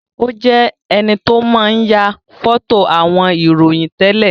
Ó jẹ enito máa ń ya foto àwọn ìròyìn tẹ́lẹ̀